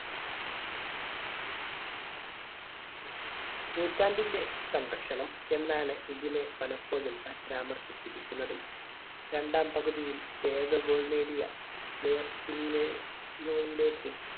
നൂറ്റാണ്ടിന്റെ സംരക്ഷണം എന്നാണ് ഇതിനെ പലപ്പോഴും പരാമർശിച്ചിരിക്കുന്നത്. രണ്ടാം പകുതിയിൽ ഏക goal നേടിയ